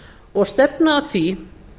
og stefna að því